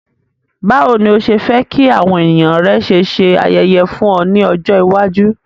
Bàwoni ni o se fe ki àwon èyàn rẹ ṣe se ayẹyẹ fún o ni ọjọ̀ iwájú.